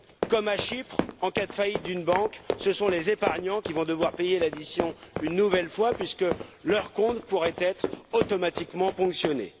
Comme à Chypre, en cas de faillite d'une banque, ce sont les épargnants qui vont devoir payer l'addition une nouvelle fois, puisque leurs comptes pourraient être automatiquement ponctionnés.